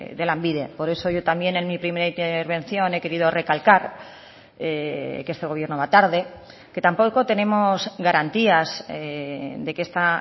de lanbide por eso yo también en mi primera intervención he querido recalcar que este gobierno va tarde que tampoco tenemos garantías de que esta